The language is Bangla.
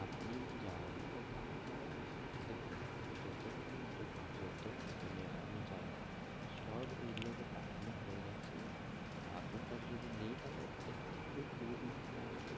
আপনি যান ওখানে কারণ দেখুন যতক্ষণ মানে যত মানে আমি জানি সব area তে পাঠানো হয়ে গেছে আপনার কাছে যদি নেই তাহলে এক থেকে দু দিন লাগবে